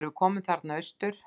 Þegar við komum þarna austur.